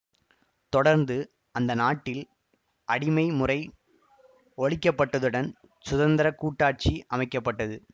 தொடர்ந்து அந்த நாட்டில் அடிமை முறை ஒழிக்கப்பட்டதுடன் சுதந்திர கூட்டாச்சி அமைக்க பட்டது